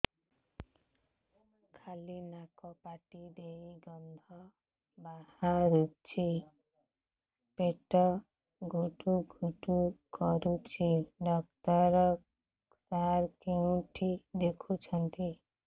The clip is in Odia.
ଖାଲି ନାକ ପାଟି ଦେଇ ଗଂଧ ବାହାରୁଛି ପେଟ ହୁଡ଼ୁ ହୁଡ଼ୁ କରୁଛି ଡକ୍ଟର ସାର କେଉଁଠି ଦେଖୁଛନ୍ତ